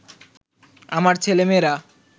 আমার ছেলেমেয়েরা